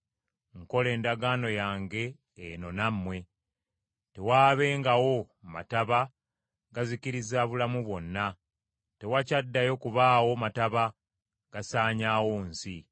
Nkola endagaano yange eno nammwe: tewaabengawo mataba gazikiriza bulamu bwonna, tewakyaddayo kubaawo mataba gasaanyaawo nsi.”